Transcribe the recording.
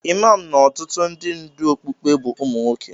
Imam na ọtụtụ ndị ndú okpukpe bụ ụmụ nwoke.